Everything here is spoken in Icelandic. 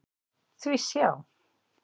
Því sjá!